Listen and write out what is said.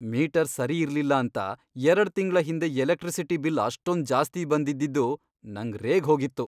Metre ಸರಿ ಇರ್ಲಿಲ್ಲ ಅಂತ ಎರಡ್ ತಿಂಗ್ಳ ಹಿಂದೆ ಎಲೆಕ್ಟ್ರಿಸಿಟಿ ಬಿಲ್ ಅಷ್ಟೊಂದ್ ಜಾಸ್ತಿ ಬಂದಿದ್ದಿದ್ದು ನಂಗ್ ರೇಗ್ಹೋಗಿತ್ತು.